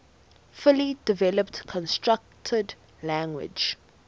fully developed constructed language